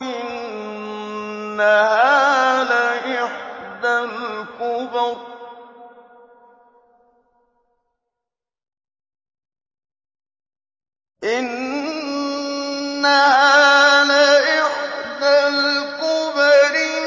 إِنَّهَا لَإِحْدَى الْكُبَرِ